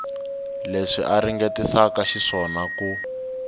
leswi a ringetisaka xiswona ku